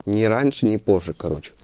ни раньше ни позже короче